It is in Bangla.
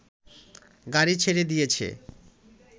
গাড়ি ছেড়ে দিয়েছে